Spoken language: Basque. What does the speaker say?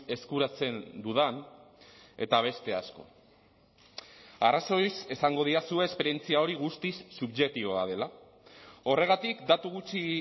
eskuratzen dudan eta beste asko arrazoiz esango didazue esperientzia hori guztiz subjektiboa dela horregatik datu gutxi